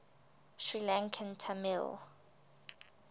sri lankan tamil